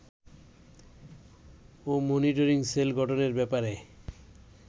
ও monitoring cell গঠনের ব্যাপারে